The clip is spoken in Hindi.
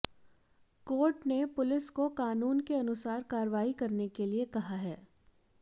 कोर्ट ने पुलिस को कानून के अनुसार कार्रवाई करने के लिए कहा है